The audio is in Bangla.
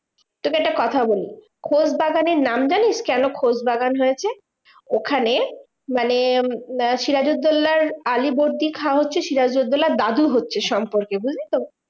তোকে একটা কথা বলি, খোশবাগানের নাম জানিস কেন খোশবাগান হয়েছে? ওখানে মানে সিরাজুদ্দোল্লার আলীবর্দী খাঁ হচ্ছে সিরাজুদ্দোল্লার দাদু হচ্ছে সম্পর্কে, বুঝলি তো?